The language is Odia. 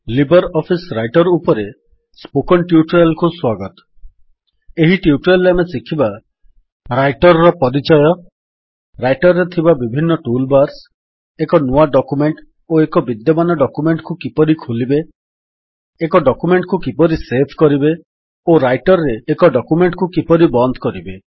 ଲିବର୍ ଅଫିସ୍ ରାଇଟର୍ ଉପରେ ସ୍ପୋକନ୍ ଟ୍ୟୁଟୋରିଆଲ୍ କୁ ସ୍ୱାଗତ - ଏହି ଟ୍ୟୁଟୋରିଆଲ୍ ରେ ଆମେ ଶିଖିବା ରାଇଟର୍ ର ପରିଚୟ ରାଇଟର୍ ରେ ଥିବା ବିଭିନ୍ନ ଟୁଲ୍ ବାର୍ସ ଏକ ନୂଆ ଡକ୍ୟୁମେଣ୍ଟ୍ ଓ ଏକ ବିଦ୍ୟମାନ ଡକ୍ୟୁମେଣ୍ଟ୍ କୁ କିପରି ଖୋଲିବେ ଏକ ଡକ୍ୟୁମେଣ୍ଟ୍ କୁ କିପରି ସେଭ୍ କରିବେ ଓ ରାଇଟର୍ ରେ ଏକ ଡକ୍ୟୁମେଣ୍ଟ୍ କୁ କିପରି ବନ୍ଦ କରିବେ